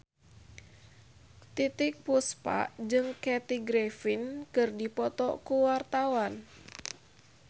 Titiek Puspa jeung Kathy Griffin keur dipoto ku wartawan